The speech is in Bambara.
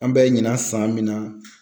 An bɛ ɲina san min na